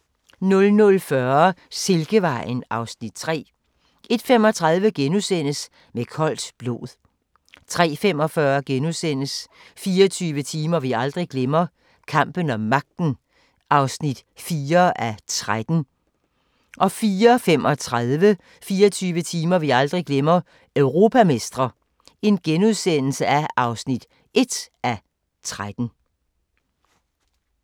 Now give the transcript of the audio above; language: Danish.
00:40: Silkevejen (Afs. 3) 01:35: Med koldt blod * 03:45: 24 timer vi aldrig glemmer – Kampen om magten (4:13)* 04:35: 24 timer vi aldrig glemmer – Europamestre (1:13)*